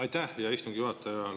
Aitäh, hea istungi juhataja!